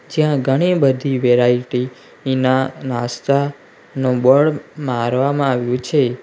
જ્યાં ઘણી બધી વેરાઈટી ઈના નાસ્તાનું બોર્ડ મારવામાં આવ્યું છે.